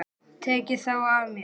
Tekið þá af mér.